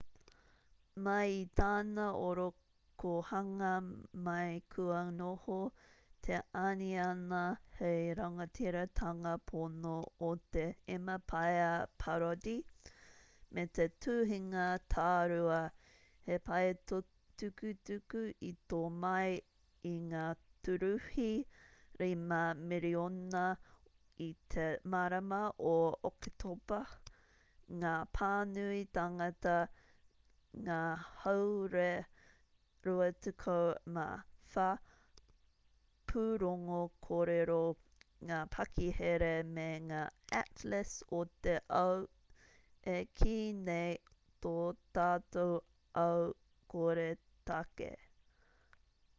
mai i tana orokohanga mai kua noho te aniana hei rangatiratanga pono o te emapaia parody me te tuhinga tārua he paetukutuku i tō mai i ngā tūruhi 5,000,000 i te marama o oketopa ngā pānui tāngata ngā hāore 24 pūrongo kōrero ngā pakihere me ngā atlas o te ao e kī nei tō tātou ao koretake